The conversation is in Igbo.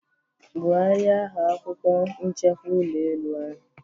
Gwugharia aha akwukwo nchekwa ulọ elu ahu.